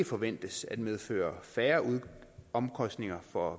forventes at medføre færre omkostninger for